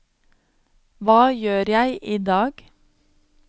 hva gjør jeg idag